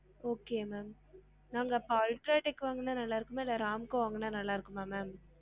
Okay ma'am ma'am அப்ப UltraTech வாங்குனா நல்லா இருக்குமா இல்ல RAMCO வாங்குனா நல்ல இருக்குமா ma'am?